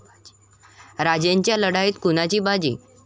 राजेंच्या लढाईत कुणाची बाजी?